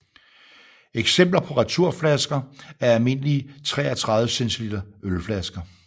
Eksempler på returflasker er almindelige 33 cl ølflasker